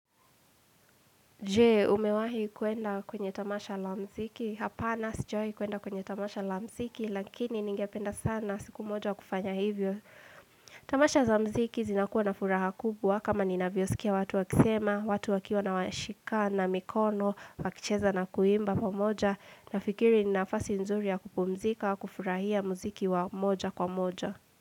Je, umewahi kuenda kwenye tamasha la mziki? Hapana sijwahi kuenda kwenye tamasha la mziki, lakini ningependa sana siku moja kufanya hivyo. Tamasha za mziki zinakuwa na furaha kubwa kama ninavyosikia watu wakisema, watu wakiwa na washikana mikono, wakicheza na kuimba pamoja. Nafikiri ni nafasi nzuri ya kupumzika, kufurahia mziki wa moja kwa moja.